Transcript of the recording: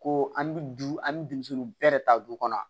Ko an bɛ du an bɛ denmisɛnninw bɛɛ ta du kɔnɔ